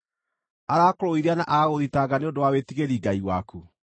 “Arakũrũithia na agagũthitanga nĩ ũndũ wa wĩtigĩri Ngai waku?